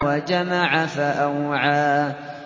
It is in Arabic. وَجَمَعَ فَأَوْعَىٰ